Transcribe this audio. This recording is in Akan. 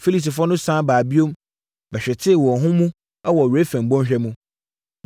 Filistifoɔ no sane baa bio bɛhwetee wɔn ho mu wɔ Refaim bɔnhwa ho,